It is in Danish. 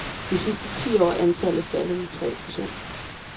De sidste ti år er antallet faldet med tre procent.